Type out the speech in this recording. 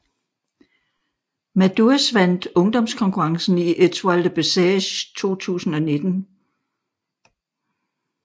Madouas vandt ungdomskonkurrencen i Étoile de Bessèges 2019